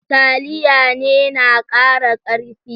Taliya ne na kara karfi.